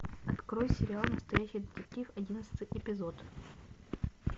открой сериал настоящий детектив одиннадцатый эпизод